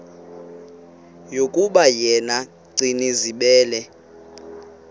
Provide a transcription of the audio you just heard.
yokuba yena gcinizibele